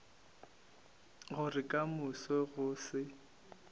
gore ka moso go se